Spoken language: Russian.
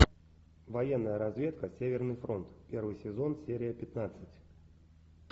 военная разведка северный фронт первый сезон серия пятнадцать